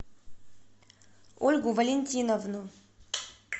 ольгу валентиновну